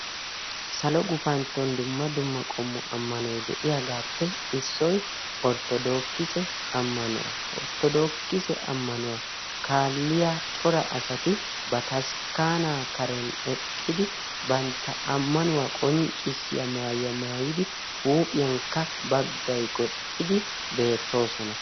Salo gufantton dumma dumma qommo ammanoyi de"iyagaappe issoyi orttodookise ammanuwa. Orttodookise ammanuwa kaalliya cora asati bataskkaanaa karen eqqidi bantta ammanuwa qonccissiya maayuwa maayidi huuphiyankka baggayi goxxidi beettoosona.